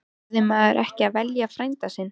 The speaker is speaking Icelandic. Verður maður ekki að velja frænda sinn?